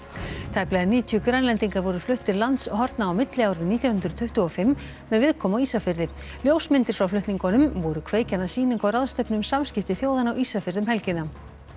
tæplega níutíu Grænlendingar voru fluttir landshorna á milli árið nítján hundruð tuttugu og fimm með viðkomu á Ísafirði ljósmyndir frá flutningunum voru kveikjan að sýningu og ráðstefnu um samskipti þjóðanna á Ísafirði um helgina